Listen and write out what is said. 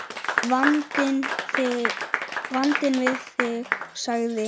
Vandinn við þig, sagði